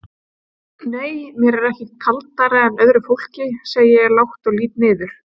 Nei mér er ekkert kaldara en öðru fólki, segi ég lágt og lít niður.